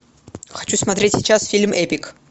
хочу смотреть сейчас фильм эпик